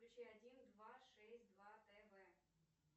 включи один два шесть два тв